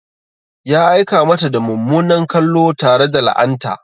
Ya aika mata da mummunan kallo tare da la'anta.